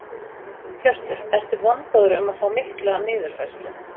Hjörtur: Ertu vongóður um að fá mikla niðurfærslu?